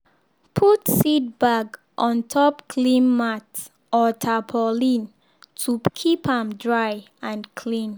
put seed bag on top clean mat or tarpaulin to keep am dry and clean.